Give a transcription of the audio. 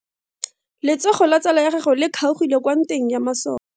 Letsogo la tsala ya gagwe le kgaogile kwa ntweng ya maso.